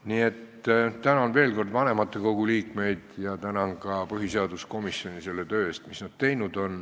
Nii et tänan veel kord vanematekogu liikmeid ja tänan ka põhiseaduskomisjoni selle töö eest, mis nad teinud on.